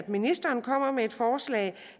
ministeren kommer med et forslag